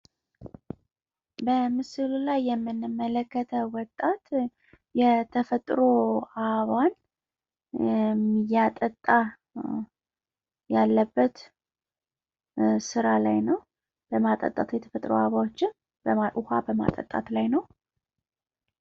በምስሉ ላይ እንደምንመለከተው ወጣቱ ተፈጥሯዊ አበባዋን ውሃ በማጠጣት ስራ ላይ ነው።